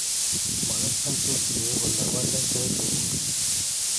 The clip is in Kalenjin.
Ma kimachei I egu nebo let eng sukul